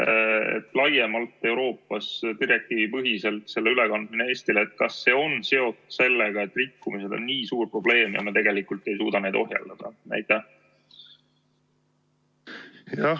Nii nagu laiemalt Euroopas ja direktiivipõhiselt – kas selle ülekandmine Eestile on seotud sellega, et rikkumised on nii suur probleem ja me tegelikult ei suuda neid ohjeldada?